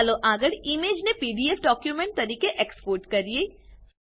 ચાલો આગળ ઈમેજ ને પીડીએફ ડોક્યુમેન્ટ તરીકે એક્સપોર્ટ કરીએ